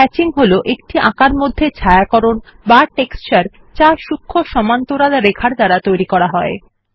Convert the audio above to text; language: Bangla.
হ্যাচিং হল একটি আঁকার মধ্যে ছায়াকরণ বা টেক্সচার যে সূক্ষ্ম সমান্তরাল রেখার দ্বারা তৈরি করা যায়